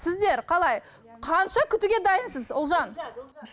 сіздер қалай қанша күтуге дайынсыз ұлжан